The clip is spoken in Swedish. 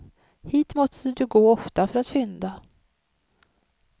Hit måste du gå ofta för att fynda.